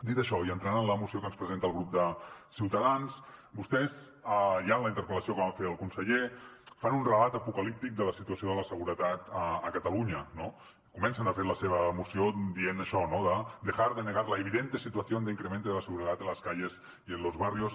dit això i entrant en la moció que ens presenta el grup de ciutadans vostès ja en la interpel·lació que van fer al conseller fan un relat apocalíptic de la situació de la seguretat a catalunya no comencen de fet la seva moció dient això de dejar de negar la evidente situación de incremento de la inseguridad en las calles y en los barrios